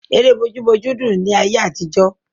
Ère bójú bójú dùn ni ayé àtijọ́.